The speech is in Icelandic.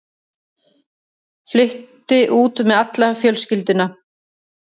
Flutti út með alla fjölskylduna.